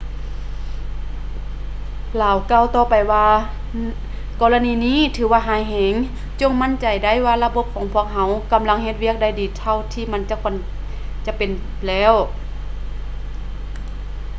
ລາວກ່າວຕໍ່ໄປວ່າ ກໍລະນີນີ້ຖືວ່າຮ້າຍແຮງ ຈົ່ງໝັ້ນໃຈໄດ້ວ່າລະບົບຂອງພວກເຮົາ ກຳລັງເຮັດວຽກໄດ້ດີເທົ່າທີ່ມັນຄວນຈະເປັນແລ້ວ